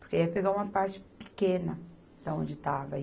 Porque ia pegar uma parte pequena da onde estava.